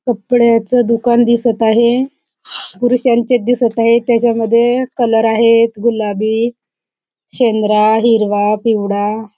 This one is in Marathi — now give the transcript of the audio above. कपड्याच दुकान दिसत आहे पुरुषांचे दिसत आहेत त्याच्या मध्ये कलर आहेत गुलाबी शेंद्रा हिरवा पिवळा--